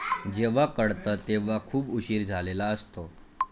जेव्हा कळतं तेव्हा खूप उशीर झालेला असतो.